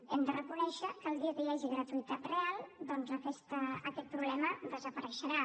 hem de reconèixer que el dia que hi hagi gratuïtat real doncs aquest problema desapareixerà